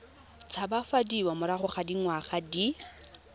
tshabafadiwa morago ga dingwaga di